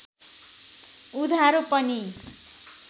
उधारो पनि